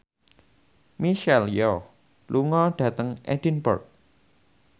Michelle Yeoh lunga dhateng Edinburgh